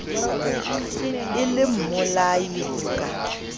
e le mmolai ho ka